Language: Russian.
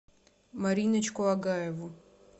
мариночку агаеву